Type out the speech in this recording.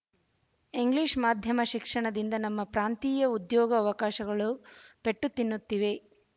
English ಮಾಧ್ಯಮ ಶಿಕ್ಷಣದಿಂದ ನಮ್ಮ ಪ್ರಾಂತೀಯ ಉದ್ಯೋಗ ಅವಕಾಶಗಳು ಪೆಟ್ಟು ತಿನ್ನುತ್ತಿವೆ